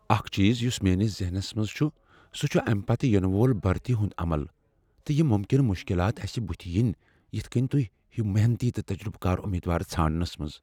اکھ چیز یس میٲنس ذہنس منٛز چھ، سُہ چھ امہ پتہٕ ینہٕ وول بھرتی ہنٛد عمل، تہٕ یم ممکنہٕ مشکلات اسہ بُتھ ین یتھ کٔنۍ توہہ ہیُو محنتی تہٕ تجربہٕ کار امیدوار ژھانٛڈنس منٛز۔